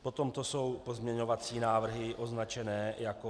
Potom to jsou pozměňovací návrhy označené jako -